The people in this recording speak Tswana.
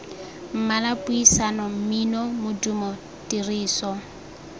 mmala puisano mmino modumo tiriso